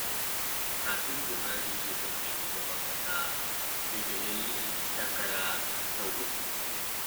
Kafin Buhari ya zama shugaban ƙasa, sai da ya yi takara sau uku.